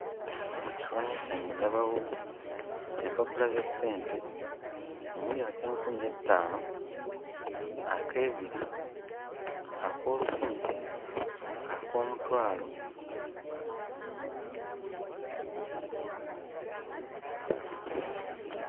Ku kifaananyi kyange ndabawo empapula za ssente omuli ak'enkumi ettaano, ak'ebiri, ak'olukumi, ak'omutwalo...